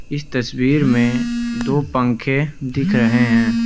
इस तस्वीर में दो पंखे दिख रहे हैं।